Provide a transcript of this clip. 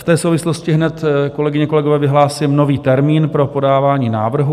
V té souvislosti hned, kolegyně, kolegové, vyhlásím nový termín pro podávání návrhů.